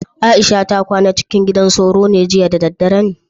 Aisha ta kwana acikin gidan sauro jiya da daddare ne?